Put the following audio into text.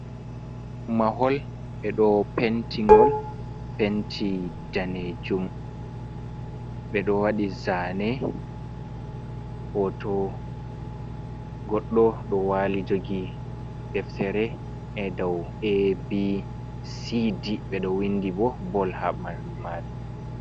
Mahol ɓe ɗo penti ngol penti danejum. Ɓe ɗo waɗi zaane hoto goɗɗo ɗo waali jogi deftere, e dow ABCD, ɓe ɗo windi bo bol ha ɓandu maru